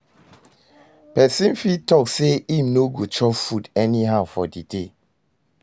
Persin fit talk say im no go chop food anyhow for di day